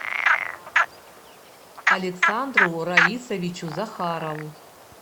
александру раисовичу захарову